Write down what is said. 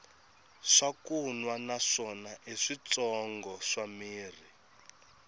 swakunwa na swona i switshongo swa mirhi